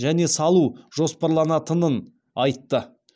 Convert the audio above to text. және салу жоспарланатынын айтты